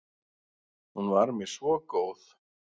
Hún var mér svo góð.